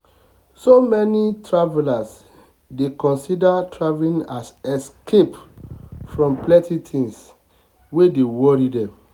so many many travelers dey consider traveling as escape from plenty things um wey dey worry dem. um